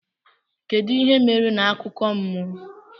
Kedu ihe mere na akụkọ mmụọ?